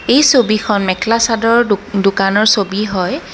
এই ছবিখন মেখেলা-চাদৰৰ দোক দোকানৰ ছবি হয়।